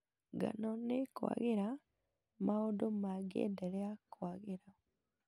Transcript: Ngano nĩĩkwagĩra maũndũ mangĩenderea kwagĩra